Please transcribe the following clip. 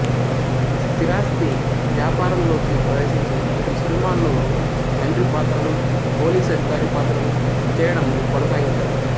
స్థిరాస్థి వ్యాపారంలోకి ప్రవేశించి ఇటు సినిమాల్లో తండ్రి పాత్రలు పోలీసు అధికారి పాత్రలు చేయడం కొనసాగించారు